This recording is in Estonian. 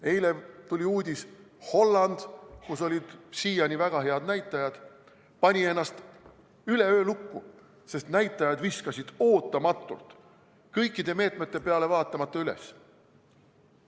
Eile tuli uudis: Holland, kus olid siiani väga head näitajad, pani ennast üleöö lukku, sest näitajad viskasid ootamatult, kõikide meetmete peale vaatamata üles.